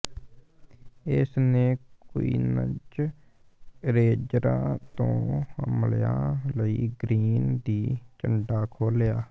ਇਸਨੇ ਕੁਈਨਜ਼ ਰੇਂਜਰਾਂ ਤੋਂ ਹਮਲਿਆਂ ਲਈ ਗ੍ਰੀਨ ਦੀ ਝੰਡਾ ਖੋਲ੍ਹਿਆ